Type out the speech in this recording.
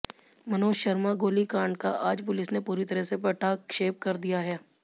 मनोज शर्मा गोलीकांड का आज पुलिस ने पूरी तरह से पटाक्षेप कर दिया है